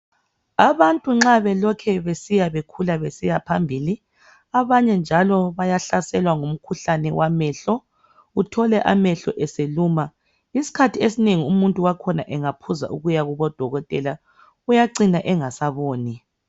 Abantu nxa belokhe besiya bekhula besiyaphambili abanye njalo bayahlaselwa ngumkhuhlane wamehlo uthole amehlo eseluma isikhathi esinengi umuntu wakhona engaphuza ukuyakubo dokotela uyacina engasaboni.